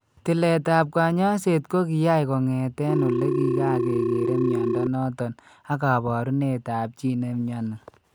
Tiletap kaany'ayseet ko kiyaae kong'etee ole kikakekere mnyando noton ak kaabarunetap chii ne mnyani .